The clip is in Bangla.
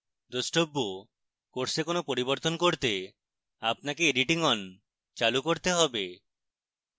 দ্রষ্টব্য: course কোন পরিবর্তন করতে আপনাকে editing on চালু করতে হবে